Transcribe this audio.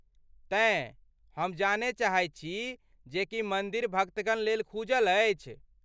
तेँ, हम जानय चाहैत छी जे की मन्दिर भक्तगण लेल खूजल अछि?